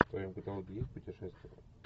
в твоем каталоге есть путешествие